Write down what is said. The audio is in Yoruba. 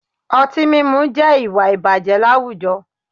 Ọtí mímu jẹ́ ìwà ìbàjẹ́ láwùjọ